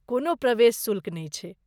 कोनो प्रवेश शुल्क नहि छैक।